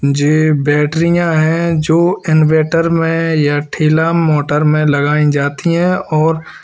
जे बैटरियां हैं जो इनवर्टर में या ठेला मोटर में लगाई जाती हैं और --